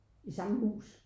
I samme hus